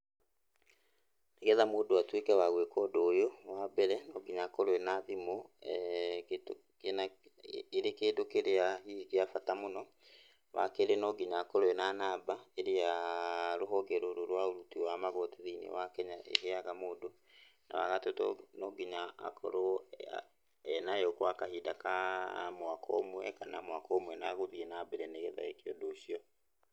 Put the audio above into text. Nĩgetha mũndũ atuĩke wa gwĩka ũndũ ũyũ, wa mbere, no nginya akorwo ena thimũ. kĩndũ kĩna, ĩrĩ kĩndũ kĩrĩa kĩa bata mũno. Wa kerĩ no nginya akorwo ena namba ĩrĩa rũhonge rũrũ rwa ũruti rwa magoti thĩinĩ wa Kenya rũheaga mũndũ, na wagatũ no nginya akorwo ena yo kwa kahinda ka mwaka ũmwe kana mwaka ũmwe na gũthiĩ nambere nĩgetha eke ũndũ ũcio.